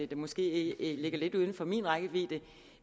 der måske ligger lidt uden for min rækkevidde